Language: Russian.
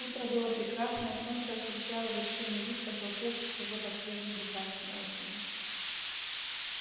утро было прекрасное солнце освещало вершины лип пожелтевших уже под свежим дыханием осени